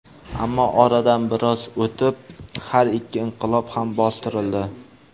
Ammo oradan biroz o‘tib, har ikki inqilob ham bostirildi.